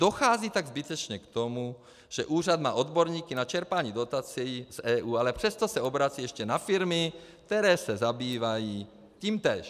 Dochází tak zbytečně k tomu, že úřad má odborníky na čerpání dotací z EU, ale přesto se obrací ještě na firmy, které se zabývají tímtéž.